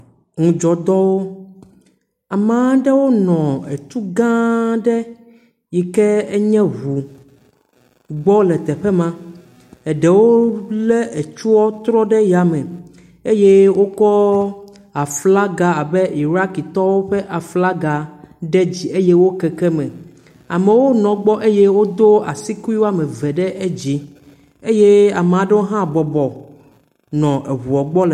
Ŋdzɔtɔwo amea aɖewo nɔ etu gãa aɖe yi ke enye ŋu gbɔ le teƒe ma. Eɖewo le etua trɔ ɖe ya me ye wokɔ aflaga abe Iɖakitɔwo ƒe aflaga ɖe dzi eye wo keke me. Amewo nɔ gbɔ eye wodo asi kui wɔme ve ɖe dzi. Eye ame ɖewo hã bɔbɔ nɔ eŋua le.